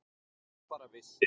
Ef þú bara vissir.